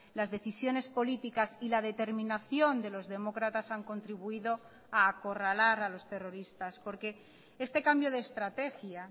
las decisiones políticas y la determinación de los demócratas han contribuido a acorralar a los terroristas porque este cambio de estrategia